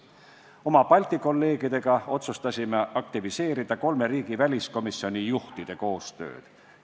Oma Balti kolleegidega otsustasime aktiveerida kolme riigi väliskomisjoni juhtide koostööd.